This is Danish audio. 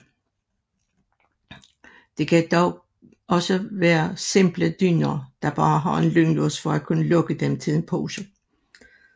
Det kan dog også være simple dyner der bare har en lynlås for at kunne lukke dem til en pose